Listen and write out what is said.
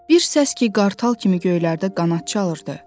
Bir səs ki qartal kimi göylərdə qanad çalırdı.